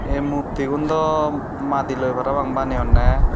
ye muktyun dow mudi loi para pang beneyondey.